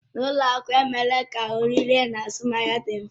N'ụlọ akụ emeela ka oririe na azụmahịa dị mfe.